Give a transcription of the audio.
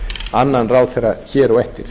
annan ráðherra hér á eftir